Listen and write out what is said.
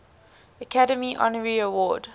academy honorary award